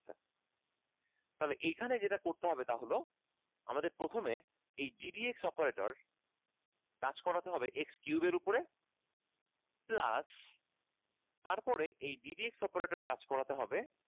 তাহলে এখানে যেটা করতে হবে তা হলো আমাদের প্রথমে এই gdp operator কাজ করাতে হবে x cube এর উপরে plus তারপরে এই gdp operator কাজ করাতে হবে